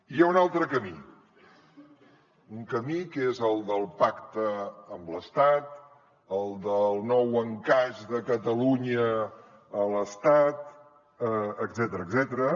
hi ha un altre camí un camí que és el del pacte amb l’estat el del nou encaix de catalunya a l’estat etcètera